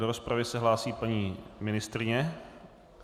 Do rozpravy se hlásí paní ministryně.